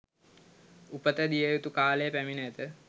උපත දිය යුතු කාලය පැමිණ ඇත